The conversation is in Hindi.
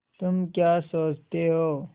तुम क्या सोचते हो